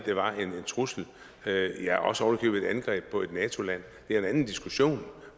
var en trussel ja også ovenikøbet et angreb på et nato land det er en anden diskussion